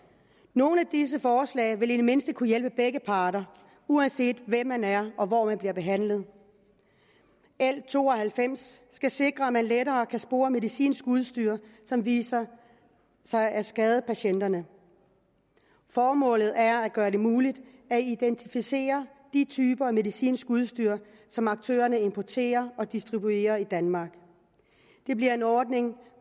nogle af disse forslag vil i det mindste kunne hjælpe begge parter uanset hvem man er og hvor man bliver behandlet l to og halvfems skal sikre at man lettere kan spore medicinsk udstyr som viser sig at skade patienterne formålet er at gøre det muligt at identificere de typer af medicinsk udstyr som aktørerne importerer og distribuerer i danmark det bliver en ordning